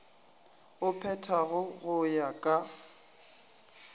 o phethago go ya ka